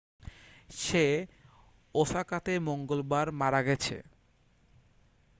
সে ওসাকাতে মঙ্গলবার মারা গেছে